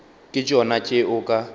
ke tšona tše o ka